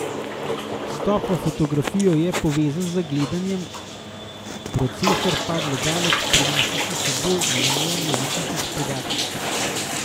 Vstop v fotografijo je povezan z gledanjem, procesor pa gledalec prinese s seboj in v njem je že tisoče podatkov.